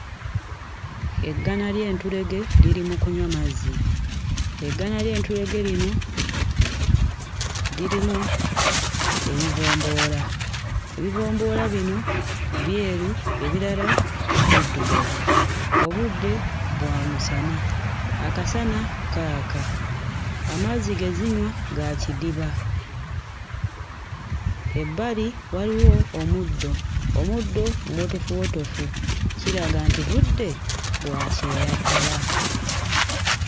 Eggana ly'entulege liri mu kunywa mazzi, eggana ly'entulege lino lirimu ebibomboola, ebibomboola bino byeru ebirala biddugavu, obudde bwa musana, akasana kaaka, amazzi ge zinywa ga kidiba, ebbali waliwo omuddo, omuddo muwotofuwotofu kiraga nti budde bwa kyeya ddala.